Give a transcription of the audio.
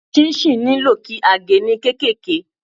Ṣinṣin nílò kí a ge ní kéékèèké.